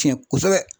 Tiɲɛ kosɛbɛ